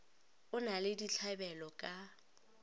o na le ditlabelo ka